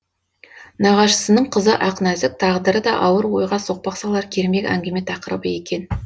нағашысының қызы ақнәзік тағдыры да ауыр ойға соқпақ салар кермек әңгіме тақырыбы екен